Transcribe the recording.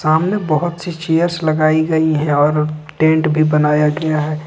सामने बहोत सी चेयर्स लगाई गई है और टेंट भी बनाया गया है।